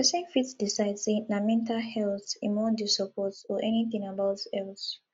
persin fit decide say na mental health im won de support or any thing about health